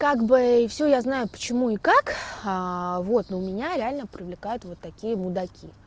как бы всё я знаю почему и как вот но у меня реально привлекают вот такие мудаки